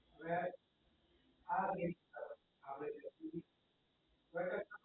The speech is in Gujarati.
હમ